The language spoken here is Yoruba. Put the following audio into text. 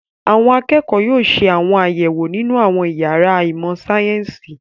Àwọn akẹ́kọ̀ọ́ yóò ṣe àwọn àyẹ̀wò nínú àwọn ìyàrá ìmọ̀-sáyẹ́ńsì.